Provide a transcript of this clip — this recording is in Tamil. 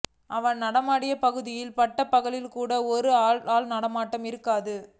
அவன் நடமாடிய பகுதியில் பட்டப் பகலிலேயே கூட ஆள் நடமாட்டம் இருக்காது